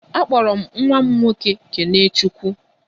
A kpọrọ m nwa m nwoke 'kenechukwu'